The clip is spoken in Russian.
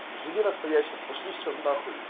живи настоящим пошли всё нахуй